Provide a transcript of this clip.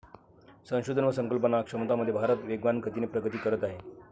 संशोधन व संकल्पना क्षमतांमध्ये भारत वेगवान गतीने प्रगती करत आहे.